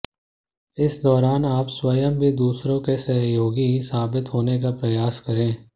इस दौरान आप स्वयं भी दूसरों के सहयोगी साबित होने का प्रयास करें